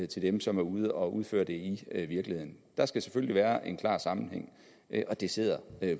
til dem som er ude at udføre det i virkeligheden der skal selvfølgelig være en klar sammenhæng og det sidder